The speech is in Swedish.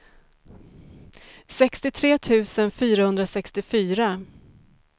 sextiotre tusen fyrahundrasextiofyra